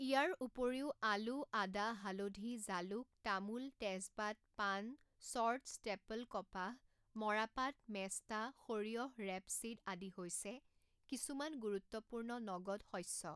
ইয়াৰ উপৰিও, আলু, আদা, হালধি, জালুক, তামোল, তেজপাত, পাণ, চৰ্ট ষ্টেপল কপাহ, মৰাপাট, মেষ্টা, সৰিয়হ, ৰেপচিড আদি হৈছে কিছুমান গুৰুত্বপূৰ্ণ নগদ শস্য।